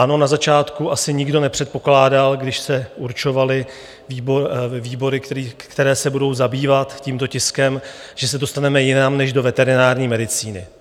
Ano, na začátku asi nikdo nepředpokládal, když se určovaly výbory, které se budou zabývat tímto tiskem, že se dostaneme jinam než do veterinární medicíny.